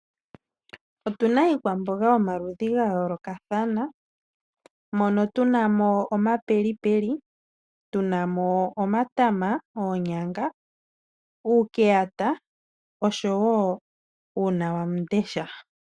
Otu na iikwamboga yomaludhi ga yoolokathana moka tu n amo omapelipeli, tu na mo omatama, oonyanga oshowo uunawamundesha.